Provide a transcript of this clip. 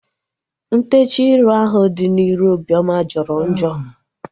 Ntechaa ịrụ ahu dị n'iru Obioma jọrọ njọ